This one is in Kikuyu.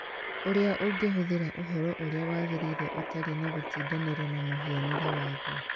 ũrĩa ũngĩhũthĩra ũhoro ũrĩa wagĩrĩire ũtarĩ na gũtindanĩra na mũhianĩre waguo.